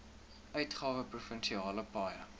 uitgawe provinsiale paaie